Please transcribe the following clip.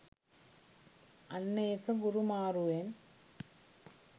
අන්න ඒක ගුරු මාරුවෙන්